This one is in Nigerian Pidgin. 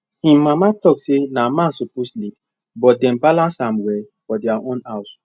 him mama talk say na man suppose lead but dem balance am well for their own house